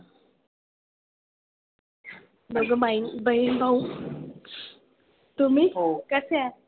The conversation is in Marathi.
दोघं भाई बहीण भाऊ. तुम्ही कसे आहात?